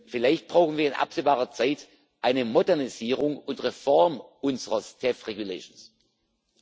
Vielleicht brauchen wir in absehbarer Zeit eine Modernisierung und Reform unseres Personalstatuts.